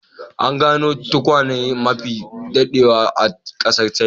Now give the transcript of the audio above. An gano tukwane mafi daɗewa a ƙasar china.